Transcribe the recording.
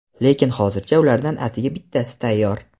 lekin hozircha ulardan atigi bittasi tayyor.